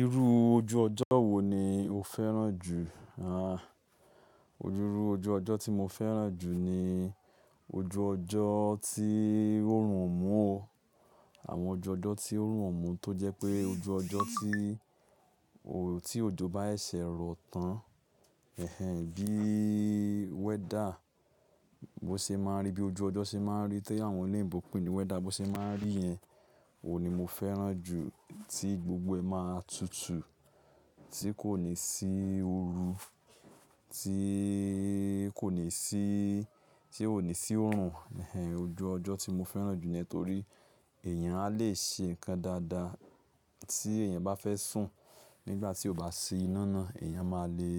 Irú ojú ọjọ́ wo ni o fẹ́ràn jù? A, irú ojú ọjọ́ tí mo fẹ́ràn jù ni ojú ọjọ́ tí órùn ó omú o. Àwọn ọju ọjọ́ tí órùn ó mú tó jẹ́ pé ojú ọjọ́ tí òjo bá ẹ sẹ̀ rọ tán. Bí weather, bó ṣe máa ń rí bí ojú ọjọ́ ṣe máa ń rí tí àwọn ò lòyìnbó ń pè ní weather bó ṣe máa ń rí yen, òun ni mo fẹ́ràn jù. Tí gbogbo ẹ máa tutù, tí kò ní sí oru, tí kò ní sí, tí ó ní sí òrùn. Ojú ọjọ́ tí mo fẹ́ràn jù níyen tori èèyàn a lè ṣe nǹkan dáadáa tí èèyàn bá fẹ́ sùn. Nígbà tí ó bá ṣí iná náà èèyàn máa le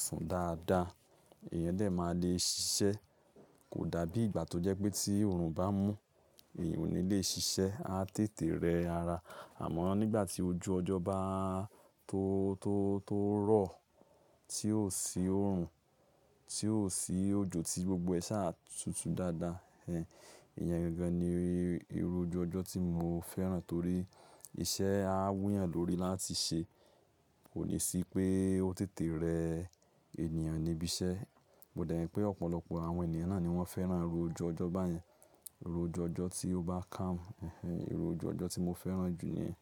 sùn dáadáa, èèyàn dè máa le ṣiṣẹ́. Kò dàbí ìgbà tó jẹ́ pé tí òrùn bá mú, èèyàn ò ní le ṣiṣẹ́, a tètè rẹ ara. Àmọ́ nígbà tí ojú ọjọ́ bá tó rọ̀, tí ò sí òrùn, tí ò sí òjo tí gbogbo ẹ ṣá a tutù dáadáa. Iyen gangan ni irú ojú ọjọ́ tí mo fẹ́ràn torí iṣẹ́ a wù yàn lórí i láti ṣe. Kò ní sí pé ó tètè rẹ ènìyàn níbí iṣẹ́. Mo dẹ̀ rí pé ọ̀pọ̀lọpọ̀ àwọn ènìyàn náà ni wọ́n fẹ́ràn irú ojú ọjọ́ báyẹn. Irú ojú ọjọ́ tí ó bá calm. Irú ojú ọjọ́ tí mo fẹ́ràn jù ni yen.